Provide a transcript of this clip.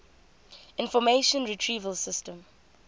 information retrieval system